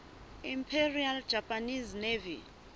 imperial japanese navy